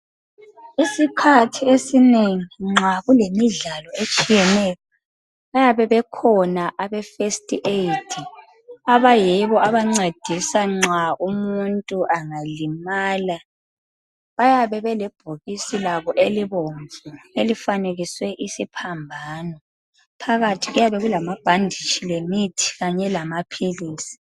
Isikhathi esinengi nxa kulemidlalo etshiyeneyo bayaye bekhona abe first aid abayibo abancedisa nxa umuntu angalimala. Bayabe belebhokisi labo elivomvu elifanekiswe isiphambano. Phakathi kuyabe kulamabhanditshi kanye lamapilisi.